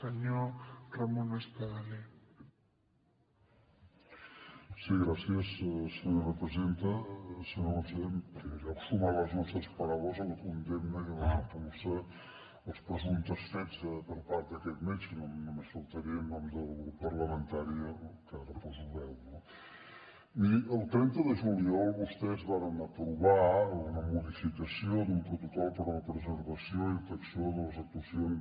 senyor conseller en primer lloc sumar les nostres paraules a la condemna i a la repulsa dels presumptes fets per part d’aquest metge només faltaria en nom del grup parlamentari al que poso veu no miri el trenta de juliol vostès varen aprovar una modificació d’un protocol per a la preservació i detecció de les actuacions